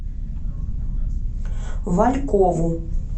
валькову